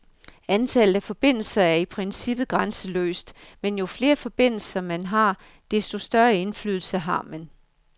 Antallet af forbindelser er i princippet grænseløst, men jo flere forbindelser, man har, desto større indflydelse har man.